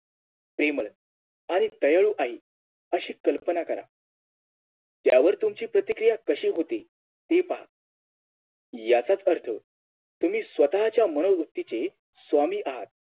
प्रेमळ आणि दयाळू आहे अशी कल्पना करा त्यावर तुमची प्रतिक्रिया कशी होती हे पहा याचाच अर्थ तुम्ही स्वतःच्या मनोवृत्तीची स्वामी आहात